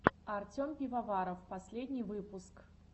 артем пивоваров последний выпуск